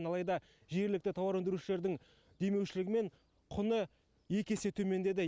алайда жергілікті тауар өндірушілердің демеушілігімен құны екі есе төмендеді